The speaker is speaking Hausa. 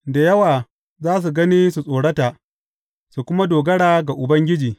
Da yawa za su gani su tsorata su kuma dogara ga Ubangiji.